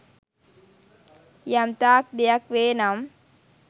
යම්තාක් දෙයක් වේ නම්